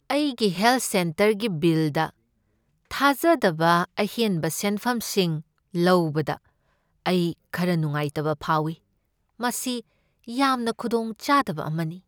ꯑꯩꯒꯤ ꯍꯦꯜꯊ ꯁꯦꯟꯇꯔꯒꯤ ꯕꯤꯜꯗ ꯊꯥꯖꯗꯕ ꯑꯍꯦꯟꯕ ꯁꯦꯟꯐꯝꯁꯤꯡ ꯂꯧꯕꯗ ꯑꯩ ꯈꯔꯥ ꯅꯨꯡꯉꯥꯏꯇꯕ ꯐꯥꯎꯏ, ꯃꯁꯤ ꯌꯥꯝꯅ ꯈꯨꯗꯣꯡꯆꯥꯗꯕ ꯑꯃꯅꯤ꯫